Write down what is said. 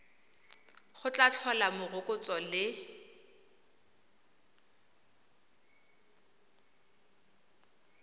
go tla tlhola morokotso le